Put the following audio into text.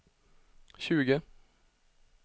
tjugo